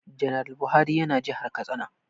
Janar Buhari ya na jihar Katsina